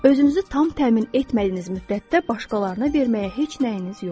Özünüzü tam təmin etmədiyiniz müddətdə başqalarına verməyə heç nəyiniz yoxdur.